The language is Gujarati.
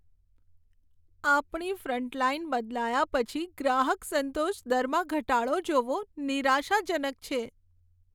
આપણી ફ્રન્ટલાઈન બદલાયા પછી ગ્રાહક સંતોષ દરમાં ઘટાડો જોવો નિરાશાજનક છે.